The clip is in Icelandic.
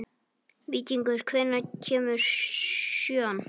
Víkingur, hvenær kemur sjöan?